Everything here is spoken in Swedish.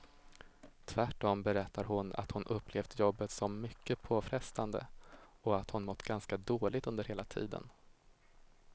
Tvärtom berättar hon att hon upplevt jobbet som mycket påfrestande och att hon mått ganska dåligt under hela tiden.